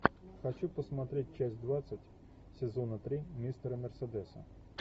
хочу посмотреть часть двадцать сезона три мистера мерседеса